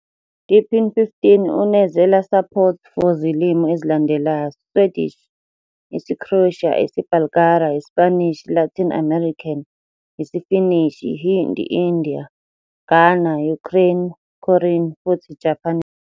deepin 15 unezela support for zilimi ezilandelayo. Swedish, isiCroatia, isiBulgaria, Spanish, Latin American, isiFinishi, Hindi, India, Ghana, Ukraine, Korean futhi Japanese.